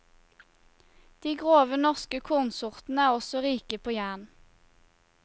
De grove norske kornsortene er også rike på jern.